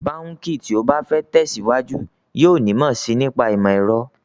Báǹkì tí ó bá fẹ́ tẹ̀síwájú yóò nímọ̀ sí i nípa ìmọ̀ ẹ̀rọ